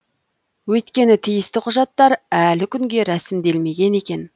өйткені тиісті құжаттар әлі күнге рәсімделмеген екен